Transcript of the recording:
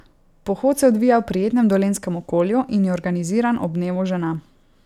Pohod se odvija v prijetnem dolenjskem okolju in je organiziran ob dnevu žena.